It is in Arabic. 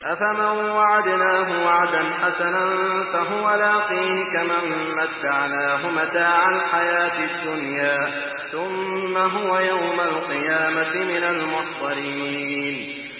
أَفَمَن وَعَدْنَاهُ وَعْدًا حَسَنًا فَهُوَ لَاقِيهِ كَمَن مَّتَّعْنَاهُ مَتَاعَ الْحَيَاةِ الدُّنْيَا ثُمَّ هُوَ يَوْمَ الْقِيَامَةِ مِنَ الْمُحْضَرِينَ